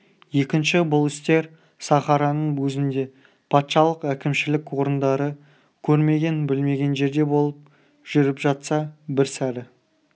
екінші бұл істер сахараның өзінде патшалық-әкімшілік орындары көрмеген білмеген жерде болып жүріп жатса бір сәрі